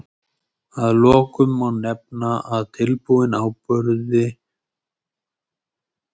Að lokum má nefna að tilbúnum áburði fylgir eitthvert magn óæskilegra þungmálma.